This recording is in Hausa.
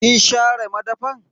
Kin share madafan?